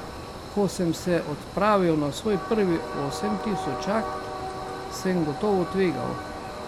Ko sem se odpravil na svoj prvi osemtisočak, sem gotovo tvegal.